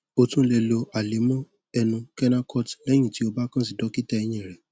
o tún lè lo àlẹmọ ẹnu kenacort lẹyìn tí o bá kàn sí dókítà eyín rẹ